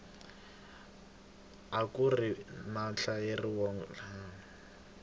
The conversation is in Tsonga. akuri na vahlaleri vo nyawula